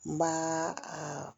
N b'a a